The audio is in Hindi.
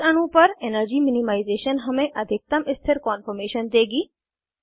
इस अणु पर एनर्जी मिनिमाइज़ेशन हमें अधिकतम स्थिर कान्फॉर्मेशन देगी